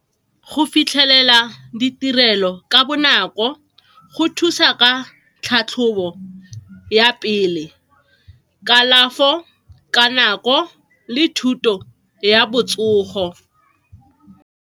Go fitlhelela ditirelo ka bonako go thusa ka tlhatlhobo ya pele, kalafo ka nako le thuto ya botsogo.